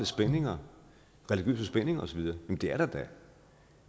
spændinger religiøse spændinger og så videre det er der da